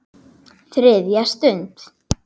ÞRIÐJA STUND